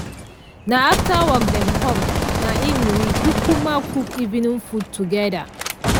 na after work dem com na im we kukuma cook evening food together.